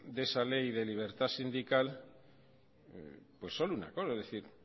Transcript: de esa ley de libertad sindical solo una cosa es decir